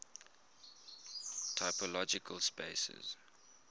topological spaces